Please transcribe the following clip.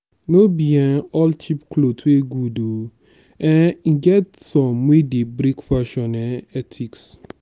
no be um all cheap clothes good oo um e get some wey break fashion um ethics